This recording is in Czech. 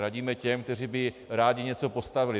Radíme těm, kteří by rádi něco postavili.